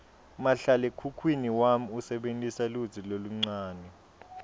mahlalekhukhwini wami usebentisa lutsi loluncane